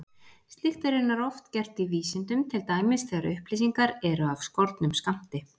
Slíkt er raunar oft gert í vísindum, til dæmis þegar upplýsingar eru af skornum skammti.